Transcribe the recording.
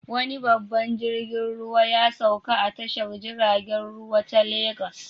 Wani babban jirgin ruwa ya sauka a tashar jiragen ruwa ta Legas.